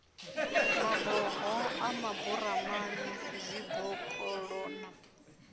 maboho a maburamani zwibokoṱo na